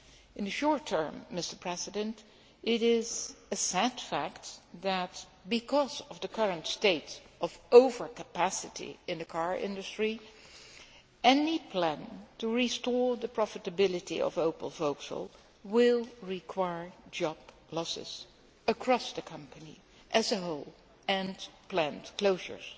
In the short term, it is a sad fact that, because of the current state of overcapacity in the car industry, any plan to restore the profitability of Opel Vauxhall will require job losses across the company as a whole and planned closures